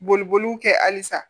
Boliboliw kɛ halisa